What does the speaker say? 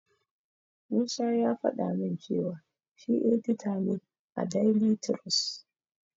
Musa ya faɗa min cewa shi edita ne a daili tirus.